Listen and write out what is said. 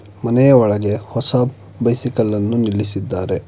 ಮನೆಯ ಒಳಗೆ ಹೊಸ ಬೈಸಿಕಲ್ಲನ್ನು ನಿಲ್ಲಿಸಿದ್ದಾರೆ.